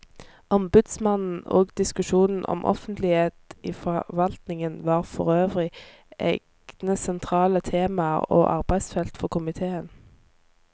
Ombudsmannen og diskusjonen om offentlighet i forvaltningen var forøvrig egne sentrale temaer og arbeidsfelt for komiteen.